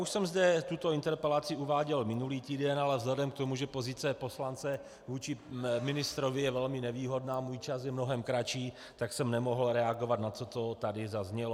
Už jsem zde tuto interpelaci uváděl minulý týden, ale vzhledem k tomu, že pozice poslance vůči ministrovi je velmi nevýhodná, můj čas je mnohem kratší, tak jsem nemohl reagovat na to, co tady zaznělo.